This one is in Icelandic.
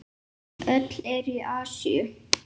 Öll eru í Asíu.